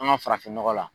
An ka farafin nɔgɔ la